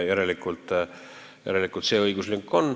Järelikult see õiguslünk siin on.